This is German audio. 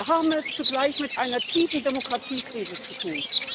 Wir haben es zugleich mit einer tiefen Demokratiekrise zu tun.